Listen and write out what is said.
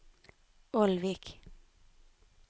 Ålvik